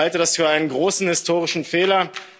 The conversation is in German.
Ich halte das für einen großen historischen Fehler.